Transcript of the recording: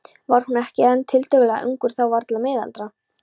Var hann ekki enn tiltölulega ungur þá, varla miðaldra?